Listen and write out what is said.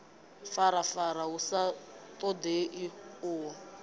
farafara hu sa ṱoḓei uho